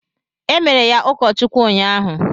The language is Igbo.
Emere ya ụkọ Chukwu unyaahụ.